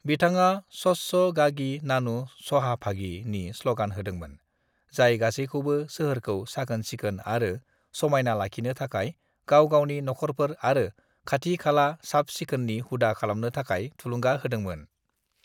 "बिथाङा 'स्वच्छ गागी नानु सहाभागी' नि स्लगान होदोंमोन, जाय गासैखौबो सोहोरखौ साखोन सिखोन आरो समायना लाखिनो थाखाय गाव गावनि नखरफोर आरो खाथि खाला साबसिखोननि हुदा खालामनो थाखाय थुलुंगा होदोंमोन।"